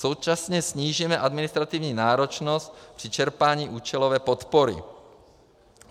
Současně snížíme administrativní náročnost při čerpání účelové podpory.